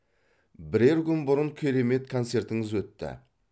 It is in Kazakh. бірер күн бұрын керемет концертіңіз өтті